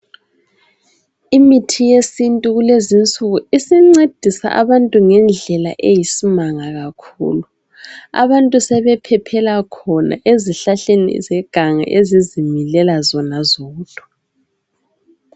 Imithi yesintu kulezi nsuku isincedisa abantu ngendlela eyisimanga kakhulu abantu sebephephela khona ezihlahleni zeganga ezizimilela zona zodwa